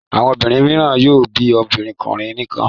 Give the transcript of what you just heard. Àwọn obìnrin mìíràn yóò bí obìnrin nìkan.